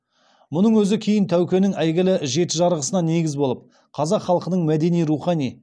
мұның өзі кейін тәукенің әйгілі жеті жарғысына негіз болып қазақ халқының мәдени рухани